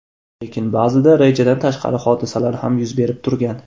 Lekin ba’zida rejadan tashqari hodisalar ham yuz berib turgan.